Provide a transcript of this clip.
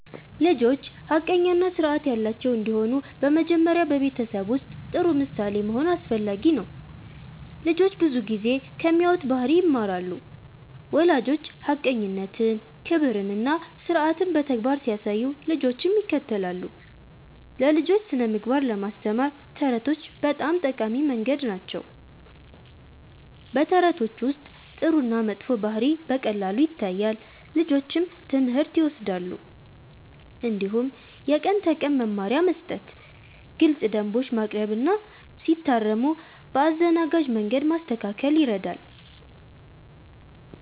ልጆች ሐቀኛ እና ስርዓት ያላቸው እንዲሆኑ በመጀመሪያ በቤተሰብ ውስጥ ጥሩ ምሳሌ መሆን አስፈላጊ ነው። ልጆች ብዙ ጊዜ ከሚያዩት ባህሪ ይማራሉ። ወላጆች ሐቀኝነትን፣ ክብርን እና ስርዓትን በተግባር ሲያሳዩ ልጆችም ይከተላሉ። ለልጆች ስነ-ምግባር ለማስተማር ተረቶች በጣም ጠቃሚ መንገድ ናቸው። በተረቶች ውስጥ ጥሩ እና መጥፎ ባህሪ በቀላሉ ይታያል፣ ልጆችም ትምህርት ይወስዳሉ። እንዲሁም የቀን ተቀን መመሪያ መስጠት፣ ግልፅ ደንቦች ማቅረብ እና ሲታረሙ በአዘናጋጅ መንገድ ማስተካከል ይረዳል።